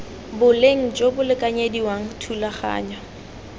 boleng jo bo lekanyediwang thulaganyo